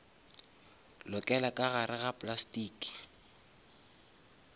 lokela ka gare ga plastiki